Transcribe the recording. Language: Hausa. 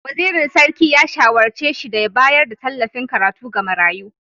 Wazirin Sarki ya shawarce shi da ya bayar da tallafin karatu ga marayu.